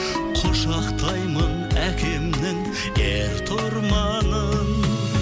құшақтаймын әкемнің ертұрманын